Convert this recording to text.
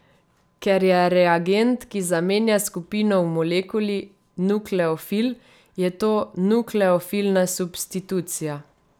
Ker je reagent, ki zamenja skupino v molekuli, nukleofil, je to nukleofilna substitucija.